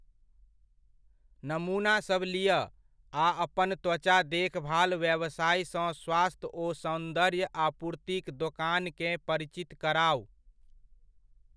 नमूना सब लिअ आ अपन त्वचा देखभाल व्यवसायसँ स्वास्थ्य ओ सौन्दर्य आपूर्तिक दोकानकेँ परिचित कराउ।